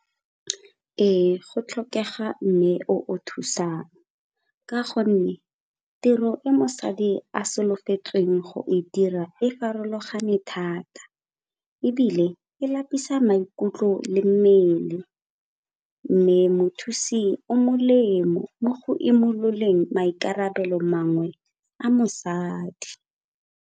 Ee, go tlhokega mme o o thusang ka gonne tiro e mosadi a solofetsweng go e dira e farologane thata ebile e lapisa maikutlo le mmele. Mme mothusi o molemo mo go imololeng maikarabelo mangwe a mosadi.